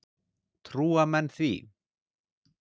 Trúa menn því?